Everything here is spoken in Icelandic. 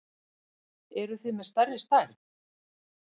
Eruð þið með stærri stærð?